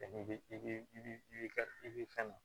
I bɛ i i bɛ ka i bɛ fɛn